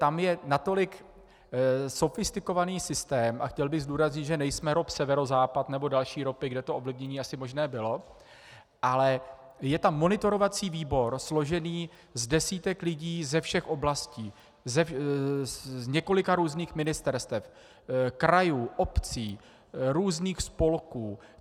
Tam je natolik sofistikovaný systém, a chtěl bych zdůraznit, že nejsme ROP Severozápad nebo další ROPy, kde to ovlivnění asi možné bylo, ale je tam monitorovací výbor složený z desítek lidí ze všech oblastí, z několika různých ministerstev, krajů, obcí, různých spolků.